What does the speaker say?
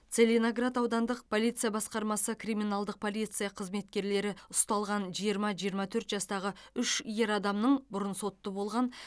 целиноград аудандық полиция басқармасы криминалдық полиция қызметкерлері ұсталған жиырма жиырма төрт жастағы үш ер адамның бұрын сотты болған